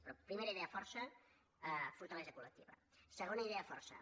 però primera idea força fortalesa colsegona idea força